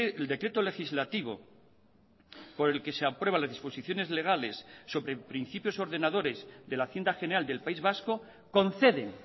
el decreto legislativo por el que se aprueban la disposiciones legales sobre principios ordenadores de la hacienda general del país vasco conceden